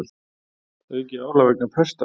Aukið álag vegna pesta